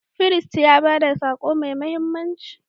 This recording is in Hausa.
Firist ya ba da sako mai mahimmanci.